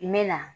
I mɛna